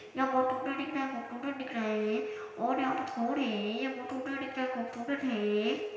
यहाँ दिख रहा है दिख रहा है ये और यहाँ पे थोड़ी --